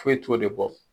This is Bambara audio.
Foyi t'o de bɔ